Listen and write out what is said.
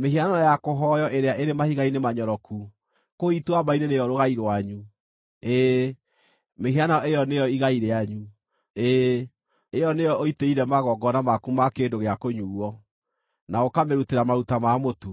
“Mĩhianano ya kũhooywo ĩrĩa ĩrĩ mahiga-inĩ manyoroku kũu ituamba-inĩ nĩyo rũgai rwanyu; ĩĩ, mĩhianano ĩyo nĩyo igai rĩanyu. Ĩĩ, ĩyo nĩyo ũitĩire magongona maku ma kĩndũ gĩa kũnyuuo, na ũkamĩrutĩra maruta ma mũtu.